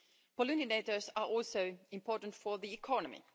Pollinators are also important for the economy.